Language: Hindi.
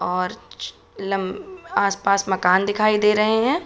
और छ लम आसपास मकान दिखाई दे रहे हैं।